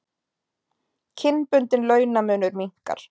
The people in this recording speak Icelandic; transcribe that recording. Kynbundinn launamunur minnkar